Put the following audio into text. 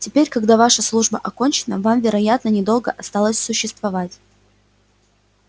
теперь когда ваша служба окончена вам вероятно недолго осталось существовать